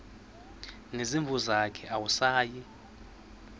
nezimvu zakhe awusayi